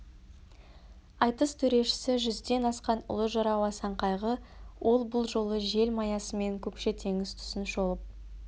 айтыс төрешісі жүзден асқан ұлы жырау асан қайғы ол бұл жолы желмаясымен көкше теңіз тұсын шолып